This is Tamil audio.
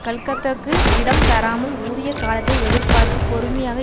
கலக்கத்துக்கு இடம் தராமல் உரிய காலத்தை எதிர்பார்த்து பொறுமையாக